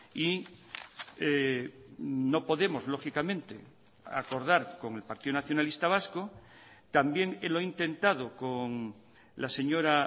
y no podemos lógicamente acordar con el partido nacionalista vasco también lo he intentado con la señora